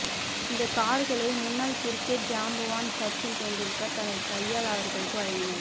இந்த கார்களை முன்னாள் கிரிக்கெட் ஜாம்பவான் சச்சின் டெண்டுல்கர் தனது கையால் அவர்களுக்கு வழங்கினார்